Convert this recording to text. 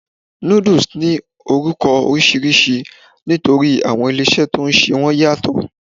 Noodles ni orúkọ oríṣiríṣi nítorí àwọn ilé-ìṣẹ́ to n se wọ́n yàtọ̀